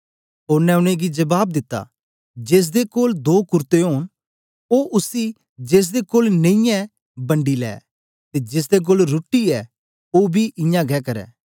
ओनें उनेंगी जबाब दिता जेसदे कोल दो कुरते ओन ओ उसी जेसदे कोल नेई ऐ बंडी लै ते जेसदे कोल रुट्टी ऐ ओ बी इयां गै करै